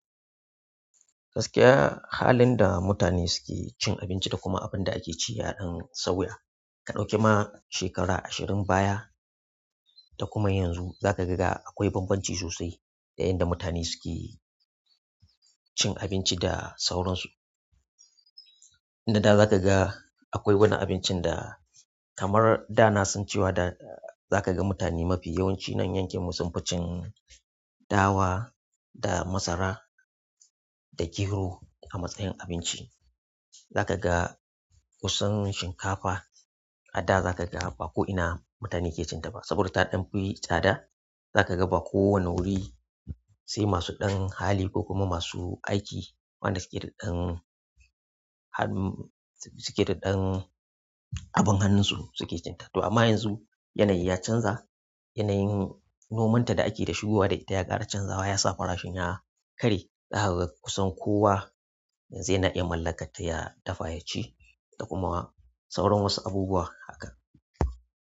Gaskiya, halin da mutane suke cin abinci da kuma abin da ake ci yaɗan sauya. Ka ɗauki ma shekara ashirin baya da kuma yanzu, za ka ga ga akwai bambanci sosai da yanda mutane suke cin abinci da sauransu. A da za ka ga akwai wani abincin da kamar da na san cewa da za ka ga mutane mafi yawanci nan yankin mu sunfi cin dawa da masara da gero a matsayin abinci. Zakaga kusan shinkafa a da zakaga ba a ko'ina mutane ke cinta ba saboda ta danfi tsada. Za ka ga ba kowane wuri sai masu ɗan hali ko kuma masu aiki waɗanda suke daɗan hannu suke da ɗan abin hannunsu suke cinta to amma yanzu yanayi ya canza. Yanayin nomanta da ake da shigowa da ita ya ƙara canzawa ya sa farashin ya ƙare. Zaka ga kusan kowa yanzu yana iya mallakar ta ya dafa ya ci da kuma sauran wasu abubuwa haka.